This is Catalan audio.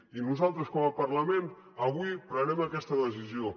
i nosaltres com a parlament avui prenem aquesta decisió